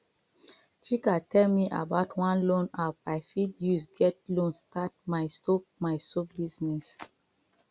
chike tell me about one loan app i fit use get loan start my soap my soap business